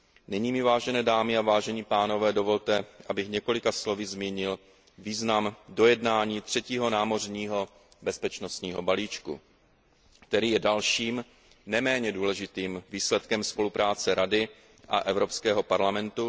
Nyní mi, vážené dámy a vážení pánové, dovolte, abych několika slovy zmínil význam dojednání třetího námořního bezpečnostního balíčku, který je dalším, neméně důležitým výsledkem spolupráce Rady a Evropského parlamentu.